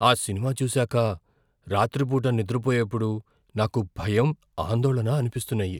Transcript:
ఆ సినిమా చూసాక రాత్రిపూట నిద్రపోయేప్పుడు నాకు భయం, అందోళన అనిపిస్తున్నాయి.